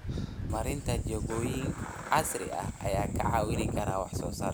Horumarinta jikooyin casri ah ayaa kaa caawin kara wax soo saarka.